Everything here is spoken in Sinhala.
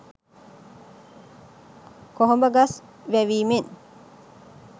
කොහොඹ ගස් වැවීමෙන්